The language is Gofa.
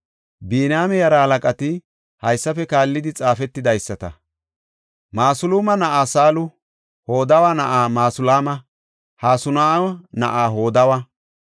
Biniyaame yaraa halaqati haysafe kaallidi xaafetidaysata. Masulaama na7aa Saalu, Hodawa na7aa Masulaama, Hasenaa7u na7aa Hodawa,